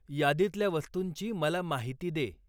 यादीतल्या वस्तूंची मला माहिती दे.